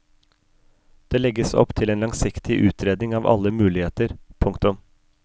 Det legges opp til en langsiktig utredning av alle muligheter. punktum